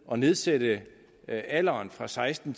at nedsætte alderen fra seksten